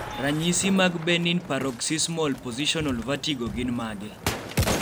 ranyisi mag Benign paroxysmal positional vertigo gin mage?